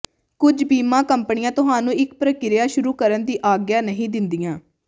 ਕੁਝ ਬੀਮਾ ਕੰਪਨੀਆਂ ਤੁਹਾਨੂੰ ਇੱਕ ਪ੍ਰਕਿਰਿਆ ਸ਼ੁਰੂ ਕਰਨ ਦੀ ਆਗਿਆ ਨਹੀਂ ਦਿੰਦੀਆਂ